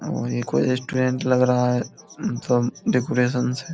और ये कोई रेस्टोरेंट लग रहा है सब डेकोरेशन से।